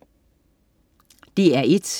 DR1: